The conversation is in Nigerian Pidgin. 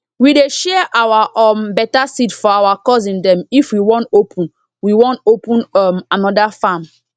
we dey share our um better seed for our cousin dem if we wan open we wan open um another farm